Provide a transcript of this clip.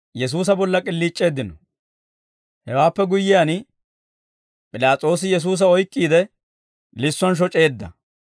Hewaappe guyyiyaan, P'ilaas'oosi Yesuusa oyk'k'iide, lissuwaan shoc'eedda.